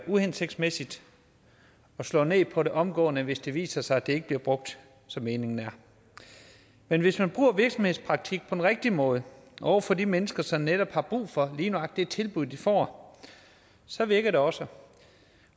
uhensigtsmæssigt og slå ned på det omgående hvis det viser sig at det ikke bliver brugt som meningen er men hvis man bruger virksomhedspraktik på den rigtige måde over for de mennesker som netop har brug for lige nøjagtig det tilbud de får så virker det også